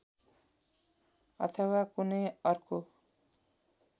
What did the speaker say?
अथवा कुनै अर्को